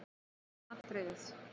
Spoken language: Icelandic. Þetta er nú fyrsta atriðið.